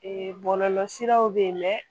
bɔlɔlɔ siraw bɛ yen